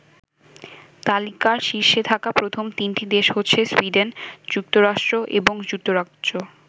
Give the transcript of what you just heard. তালিকার শীর্ষে থাকা প্রথম তিনটি দেশ হচ্ছে সুইডেন, যুক্তরাষ্ট্র এবং যুক্তরাজ্য।